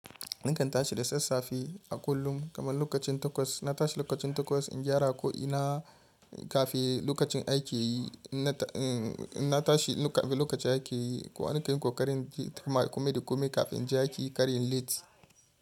Nakan tashi da sassafe a kullum kamar lokacin takwas. Na tashi lokacin takwas in gyara ko'ina kafin lokacin aiki. Na tashi kafin lokacin aiki kuma nakan yi ƙoƙarin tafiya kuma da ƙome kafin je aiki karyan late.